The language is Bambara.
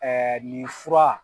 nin fura